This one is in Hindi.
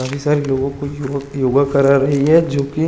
काफी सारे लोगो को योग-योगा करा रही है जो की--